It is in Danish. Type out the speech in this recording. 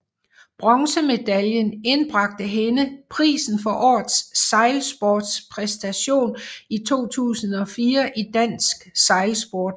Bronzemedaljen indbragte hende prisen for årets sejlsportspræstation 2004 i dansk sejlsport